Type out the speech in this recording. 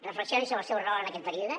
reflexionin sobre el seu rol en aquest període